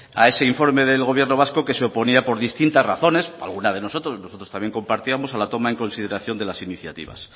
a ese informe del gobierno vasco que se oponía por distintas razones alguna que nosotros también compartíamos a la toma en consideración de las iniciativas